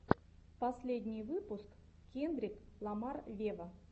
последний выпуск кендрик ламар вево